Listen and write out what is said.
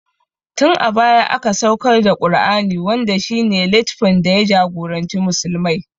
Tin a baya aka saukar da Ƙur'ani wanda shi ne littfin da ya jagoranci musulmai